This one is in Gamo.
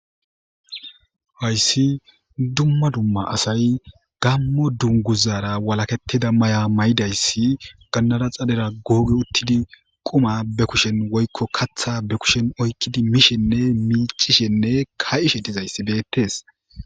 Hayssi dumma dumma asay gammo dunguzaara walaketida maya mayidayssi gannada xalera googe uttidi quma be kushen woykko katha be kushen oykkidi miishenne miicishenne ka7ishe dizayssi beettes